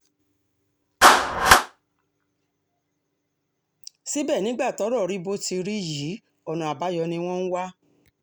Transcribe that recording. síbẹ̀ nígbà tọ́rọ̀ tún rí bó ti rí yìí ọ̀nà àbáyọ ni wọ́n ń wá